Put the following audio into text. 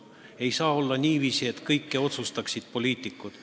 Ei saa olla ka niiviisi, et kõike otsustavad poliitikud.